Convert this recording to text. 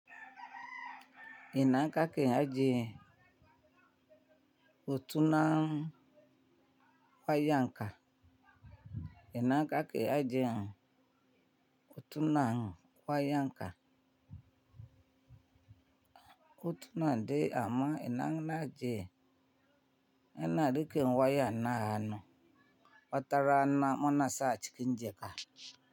Ina ka ke ajiye hotunan wayan ka. Ina aka ke ajiye otunan waya anka. Otunan de amma ina na ajiye. Ina rike waya na hanu. Watara na muna sa cikin jaka.